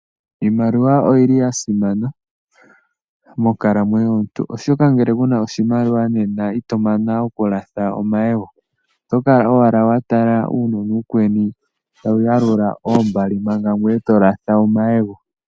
Iimaliwa oyili yasimana monkalamwenyo yomuntu, oshoka ngele kuna oshimaliwa nena itomana okulatha omayego ,otokala owala watala uunona uukweni tawuyalula oombali manga gweye tolatha omayego.